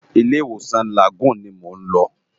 Ilé Iwósan Lágúùn ni mó n lò